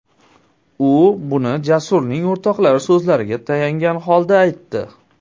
U buni Jasurning o‘rtoqlari so‘zlariga tayangan holda aytdi.